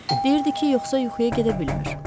Deyirdi ki, yoxsa yuxuya gedə bilmir.